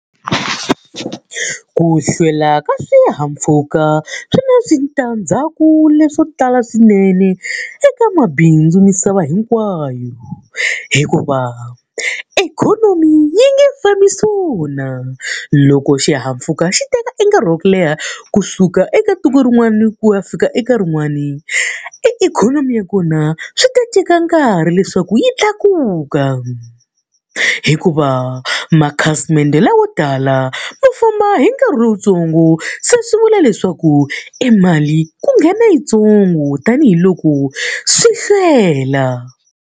Ku hlwela ka swihahampfhuka swi na switandzhaku leswo tala swinene eka mabindzu misava hinkwayo. Hikuva ikhonomi yi nge fambi swona. Loko xihahampfhuka xi teka e nkarhi wa ku leha kusuka eka tiko rin'wani ku ya fika eka rin'wani, e ikhonomi ya kona swi ti teka nkarhi leswaku yi tlakuka. Hikuva makhasimende lawo tala ma famba hi nkarhi lowuntsongo se swi vula leswaku e mali ku nghena yintsongo tanihiloko swi hlwela.